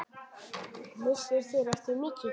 Missir þeirra er mikill.